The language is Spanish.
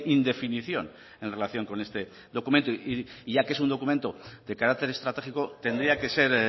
indefinición en relación con este documento y ya que es un documento de carácter estratégico tendría que ser